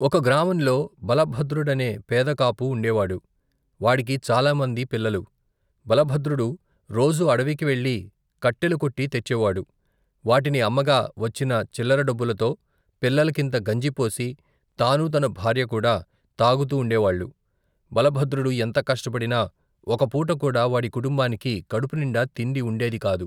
ఒక గ్రామంలో భలభద్రుడనే పేదకాపు ఉండేవాడు. వాడికి చాలామంది పిల్లలు. భలభద్రుడు రోజూ అడివికి వెళ్ళి కట్టేలు కొట్టి తెచ్చేవాడు. వాటిని అమ్మగా వచ్చిన చిల్లర డబ్బులతో పిల్లల కింత గంజి పోసి తానూ తన భార్య కూడా తాగుతూ ఉండే వాళ్ళు. భలభద్రుడు ఎంత కష్టపడినా ఒక పూట కూడా వాడి కుటుంబానికి కడుపు నిండా తిండి ఉండేది కాదు.